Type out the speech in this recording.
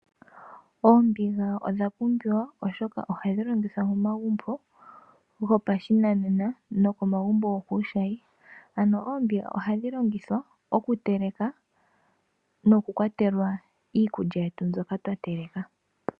Oombiga odhapumbiwa oshoka ohadhi longithwa momagumbo gopashinanena noko magumbo gokuushayi. Oombinga ohadhi longithwa oku teleka noku kwatela iikulya yetu mbyoka twa teleka.